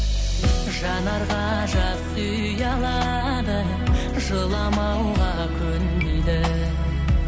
жанарға жас ұялады жыламауға көнбейді